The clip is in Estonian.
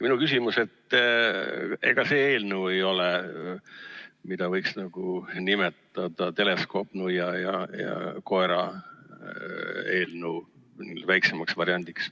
Minu küsimus on, et ega see eelnõu ei ole see, mida võiks nimetada teleskoopnuia ja koera eelnõu väiksemaks variandiks.